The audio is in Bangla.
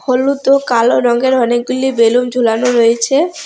হলুদ ও কালো রঙের অনেকগুলি বেলুন ঝুলানো রয়েছে।